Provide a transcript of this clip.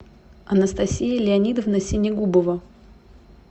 анастасия леонидовна синегубова